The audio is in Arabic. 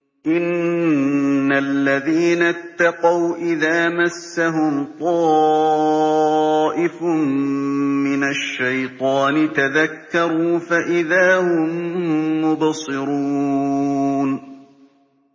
إِنَّ الَّذِينَ اتَّقَوْا إِذَا مَسَّهُمْ طَائِفٌ مِّنَ الشَّيْطَانِ تَذَكَّرُوا فَإِذَا هُم مُّبْصِرُونَ